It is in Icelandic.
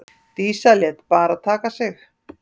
Dísa lét bara taka sig.